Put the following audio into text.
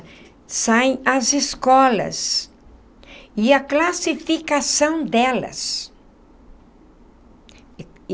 Saem as escolas e a classificação delas.